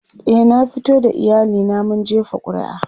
e na fito da iyali na mun jefa ƙuri'a